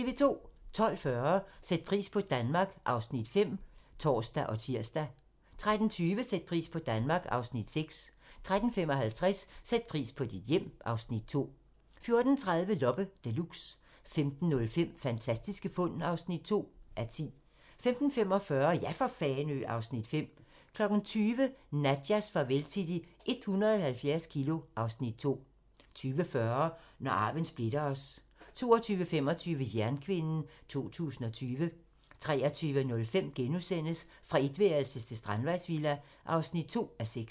12:40: Sæt pris på Danmark (Afs. 5)(tor og tir) 13:20: Sæt pris på Danmark (Afs. 6) 13:55: Sæt pris på dit hjem (Afs. 2) 14:30: Loppe Deluxe 15:05: Fantastiske fund (2:10) 15:45: Ja for Fanø! (Afs. 5) 20:00: Nadjas farvel til de 170 kilo (Afs. 2) 20:40: Når arven splitter os 22:25: Jernkvinden 2020 23:05: Fra etværelses til strandvejsvilla (2:6)*